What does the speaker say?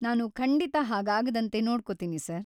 ನಾನು ಖಂಡಿತಾ ಹಾಗಾಗದಂತೆ ನೋಡ್ಕೋತೀನಿ ಸರ್.